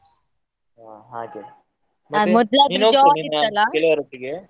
ಹಾ ಹಾಗೆ ಗೆಳೆಯರೊಟ್ಟಿಗೆ?